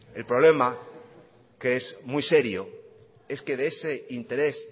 el problema que es muy serio es que de ese interés